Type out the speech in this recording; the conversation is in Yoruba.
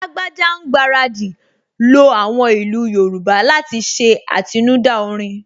Lágbájá ń gbaradì lo àwọn ìlú Yorùbá láti ṣe àtinúdá orin